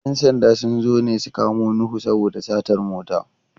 ‘Yan sanda sun zo ne su kamo Nuhu saboda satar mota.